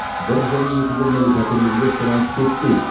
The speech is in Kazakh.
бір және екі бөлмелі пәтерлерге сұраныс көптеу